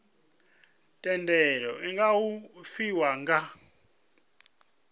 thendelo iu nga fhiwa nga